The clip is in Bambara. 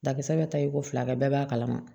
Dakisɛ bɛ ta i ko fila kɛ bɛɛ b'a kalama